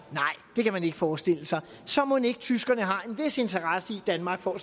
det kan man ikke forestille sig så mon ikke tyskerne har en vis interesse i at danmark får